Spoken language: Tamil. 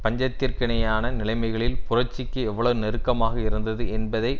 பஞ்சத்திற்கிணையான நிலைமைகளில் புரட்சிக்கு எவ்வளவு நெருக்கமாக இருந்தது என்பதை